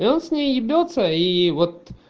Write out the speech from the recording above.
и он с ней ебется ии вот